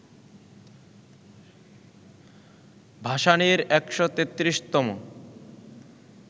ভাসানীর ১৩৩তম